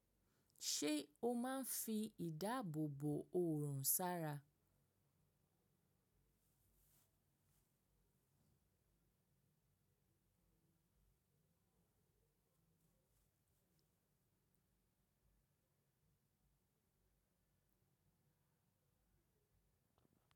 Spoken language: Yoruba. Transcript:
Ṣé o máa ń fi ìdáàbò bò òorùn sára?